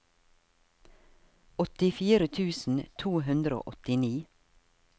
åttifire tusen to hundre og åttini